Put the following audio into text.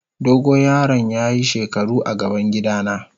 Dogo yaron ya yi shekaru a gaban gida na.